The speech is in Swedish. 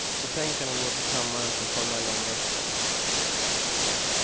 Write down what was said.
Betänkandet går till kammaren för formell omröstning.